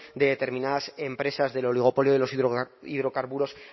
de determinadas empresas del oligopolio de los hidrocarburos